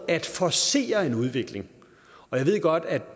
at forcere en udvikling jeg ved godt at